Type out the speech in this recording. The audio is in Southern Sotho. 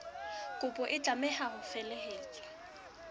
kopo e tlameha ho felehetswa